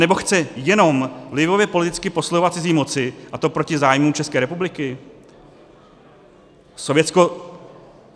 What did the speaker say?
Nebo chce "jenom" vlivově politicky posluhovat cizí moci, a to proti zájmům České republiky?